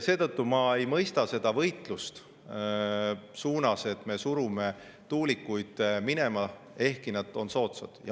Seetõttu ma ei mõista seda võitlust: surume tuulikuid minema, ehkki need on soodsad.